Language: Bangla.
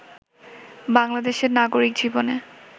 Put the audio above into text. বাংলাদেশের নাগরিক জীবনে